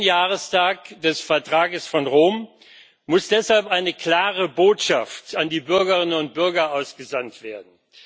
60. Jahrestag des Vertrags von Rom muss deshalb eine klare Botschaft an die Bürgerinnen und Bürger ausgesandt werden.